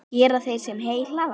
Gera þeir, sem heyi hlaða.